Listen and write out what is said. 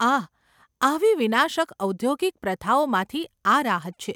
આહ! આવી વિનાશક ઔદ્યોગિક પ્રથાઓમાંથી આ રાહત છે.